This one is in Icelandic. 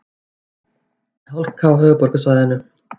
Hálka á höfuðborgarsvæðinu